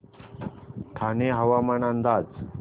ठाणे हवामान अंदाज